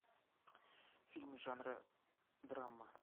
фильм жанра драма